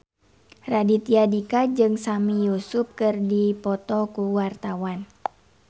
Raditya Dika jeung Sami Yusuf keur dipoto ku wartawan